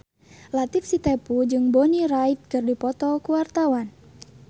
Latief Sitepu jeung Bonnie Wright keur dipoto ku wartawan